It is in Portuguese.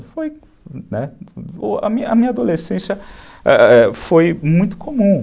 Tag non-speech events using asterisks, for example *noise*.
*unintelligible* A minha adolescência foi muito comum.